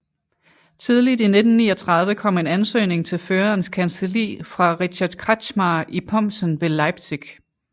Tidligt i 1939 kom en ansøgning til Førerens kancelli fra Richard Kretschmar i Pomssen ved Leipzig